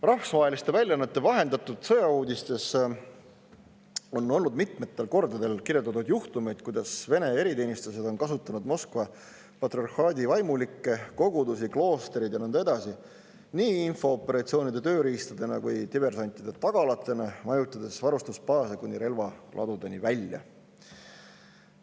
Rahvusvaheliste väljaannete vahendatud sõjauudistes on mitmetel kordadel kirjeldatud juhtumeid, kuidas Vene eriteenistused on kasutanud Moskva patriarhaadi vaimulikke, kogudusi, kloostreid ja nõnda edasi nii infooperatsioonide tööriistadena kui diversantide tagalana, majutades varustusbaase kuni relvaladudeni välja.